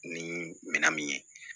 Ni minɛn min ye